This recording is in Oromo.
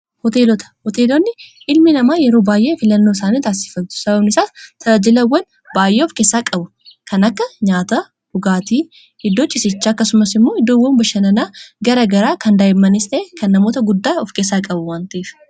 hooteelota hooteelonni ilmi namaa yeroo baay'ee filannoo saani taassiffattu sababnisaas talajilawwan baay'ee of keessaa qabu kan akka nyaata dhugaatii hiddoo cisicha akkasumas immoo iddoowwan bashananaa gara garaa kan daa'imanistee kan namoota guddaa of keessaa qabu wantiif